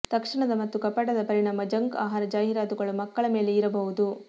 ತಕ್ಷಣದ ಮತ್ತು ಕಪಟದ ಪರಿಣಾಮ ಜಂಕ್ ಆಹಾರ ಜಾಹೀರಾತುಗಳು ಮಕ್ಕಳ ಮೇಲೆ ಇರಬಹುದು